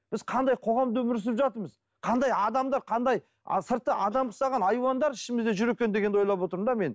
біз қандай қоғамда өмір сүріп жатырмыз қандай адамдар қандай сырты адам ұқсаған айуандар ішімізде жүр екен дегенді ойлап отырмын да мен